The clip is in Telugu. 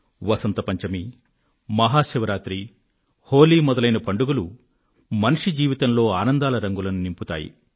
వసంత పంచమి మహా శివరాత్రి హోలీ మొదలైన పండుగలు మనిషి జీవితంలో ఆనందాల రంగులను నింపుతాయి